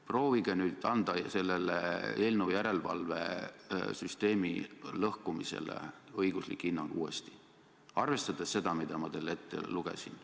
Proovige nüüd uuesti anda sellele eelnõule, järelevalvesüsteemi lõhkumisele õiguslik hinnang, arvestades seda, mida ma teile ette lugesin.